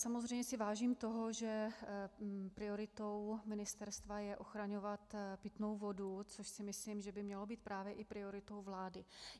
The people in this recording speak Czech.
Samozřejmě si vážím toho, že prioritou ministerstva je ochraňovat pitnou vodu, což si myslím, že by mělo být právě i prioritou vlády.